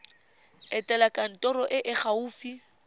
etela kantoro e e gaufi